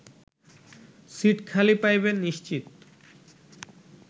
seat খালি পাইবেন নিশ্চিত